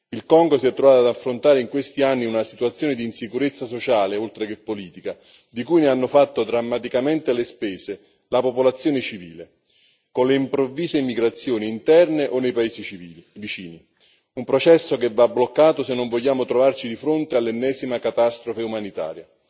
Il Congo si è trovato ad affrontare in questi anni una situazione di insicurezza sociale, oltre che politica, di cui ha fatto drammaticamente le spese la popolazione civile, con le improvvise migrazioni interne o nei paesi vicini un processo che va bloccato se non vogliamo trovarci di fronte all'ennesima catastrofe umanitaria.